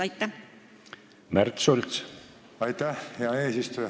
Aitäh, hea eesistuja!